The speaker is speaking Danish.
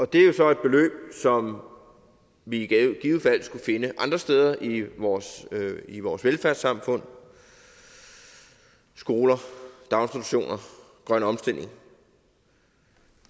det er jo så et beløb som vi i givet fald skulle finde andre steder i vores i vores velfærdssamfund skoler daginstitutioner grøn omstilling